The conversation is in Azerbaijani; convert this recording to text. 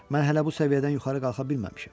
Mən hələ bu səviyyədən yuxarı qalxa bilməmişəm.